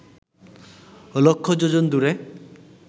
লক্ষ যোজন দূরে